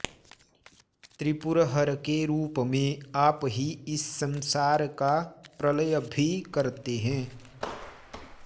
त्रिपुरहरके रूपमें आप ही इस संसारका प्रलय भी करते हैं